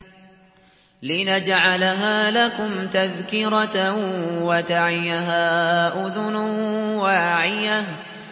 لِنَجْعَلَهَا لَكُمْ تَذْكِرَةً وَتَعِيَهَا أُذُنٌ وَاعِيَةٌ